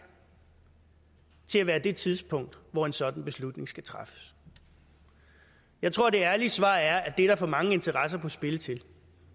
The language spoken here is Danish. til at være det tidspunkt hvor en sådan beslutning skal træffes jeg tror at det ærlige svar er at det er der for mange interesser på spil til det